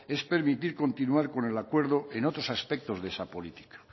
es permitir continuar con el acuerdo en otros aspectos de esa política